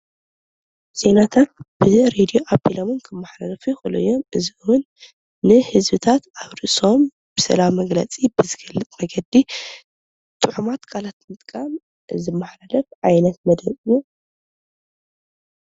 ዜናታት ብሬድዮ ኣብሎም እውን ክመሓላለፉ ይክእሉ እዮም ።እዚ ውን ንህዝብታት ኣብ ርእሶም ብስእላዊ መግለፂ ብዝገልፅ መንገዲ ጡዑማት ቃላት ብምጥቃም ዝመሓላለፍ ዓይነት መደብ እዩ።